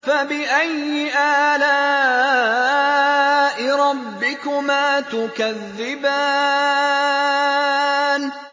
فَبِأَيِّ آلَاءِ رَبِّكُمَا تُكَذِّبَانِ